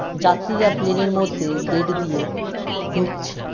যাত্রীরা প্লেন - এর মধ্যে গেট দিয়ে ঢুকছে ।